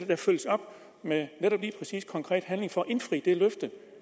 der følges op med netop lige præcis konkret handling for at indfri det løfte